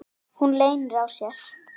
Hún leynir á sér.